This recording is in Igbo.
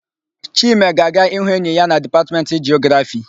Chime ga-aga ịhụ enyi ya na Dipatmentị Jiografii.